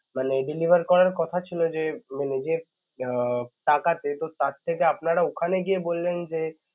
মানে deliver করার কথা ছিল যে মানে~ যে উম টাকা যেহেতু first থেকে আপনারা ওখানে গিয়ে বললেন যে